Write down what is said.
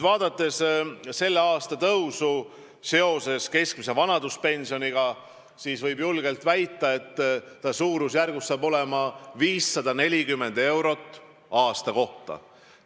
Vaadates tänavust keskmise vanaduspensioni tõusu, võib julgelt väita, et suurusjärgus saab see olema 540 eurot aasta kohta.